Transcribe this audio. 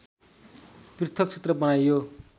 पृथक क्षेत्र बनाइयो